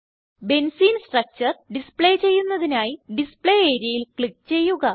benzene structure display ചെയ്യുന്നതിനായി display areaയിൽ click ചെയ്യുക